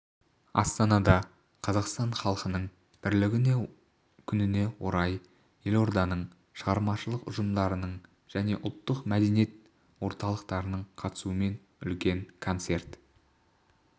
астанада қазақстан халқының бірлігі күніне орай елорданың шығармашылық ұжымдарының және ұлттық мәдениет орталықтарының қатысуымен үлкен концерт